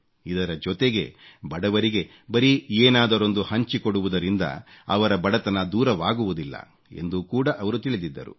ಇದರ ಜೊತೆಗೆ ಬಡವರಿಗೆ ಬರೀ ಏನಾದರೊಂದು ಹಂಚಿಕೊಡುವುದರಿಂದ ಅವರ ಬಡತನ ದೂರವಾಗುವುದಿಲ್ಲ ಎಂದು ಕೂಡ ಅವರು ತಿಳಿದಿದ್ದರು